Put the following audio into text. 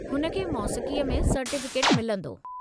हुन खे मौसीक़ीअ में सर्टीफ़िकेटु मिलंदो।